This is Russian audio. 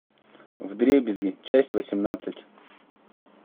вдребезги часть восемнадцать